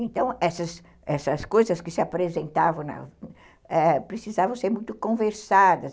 Então, essas essas coisas que se apresentavam precisavam ser muito conversadas.